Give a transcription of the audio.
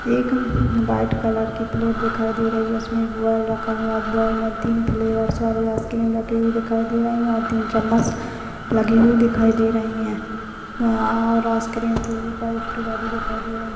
एक white colour की plate दिखाई दे रही है उसमें एक बॉल रखा हुआ है बाल में तीन वाली आइसक्रीम रखी हुई दिखाई दे रही है और तीन चम्मच लगी हुई दिखाई दे रही है और आइसक्रीम के ऊपर स्ट्रॉबेरी दिखाई दे रही है।